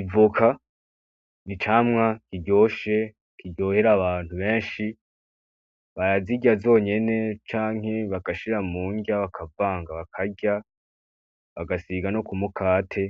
Ivoka n'icamwa kiryoshe kiryohera abantu benshi, barazirya zonyene canke bagashira mu nrya bakavanga bakarya, bagasiga no ku mukate